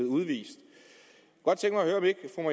udvist